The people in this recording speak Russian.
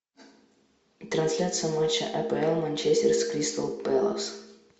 трансляция матча апл манчестер с кристал пэлас